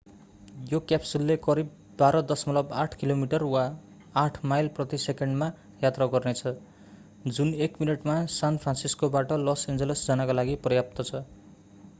यो क्याप्सुलले करिब 12.8 किलोमिटर वा 8 माइल प्रति सेकेण्डमा यात्रा गर्नेछ जुन एक मिनेटमा सान फ्रान्सिस्कोबाट लस एन्जल्स जानका लागि पर्याप्त छ